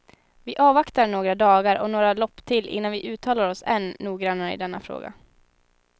Vi avvaktar några dagar och några lopp till innan vi uttalar oss än noggrannare i denna fråga.